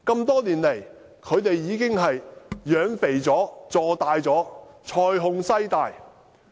多年來，他們已經養肥了，坐大了，財雄勢大。